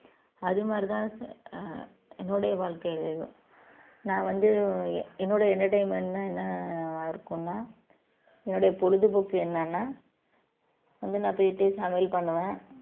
அது மாதிரிதான் சா~ ஆஹ் என்னுடைய வாழ்க்கையிலயும் நான் வந்து என்னுடைய entertainment ன்னா என்னவா இருக்கும்னா என்னுடைய பொழுதுபோக்கு என்னன்னா வந்து நான் போயிட்டு சமையல் பண்ணுவேன்